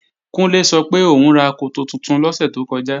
Kúnlé sọ pé òún ra koto tuntun lọ́sẹ̀ tó kọjá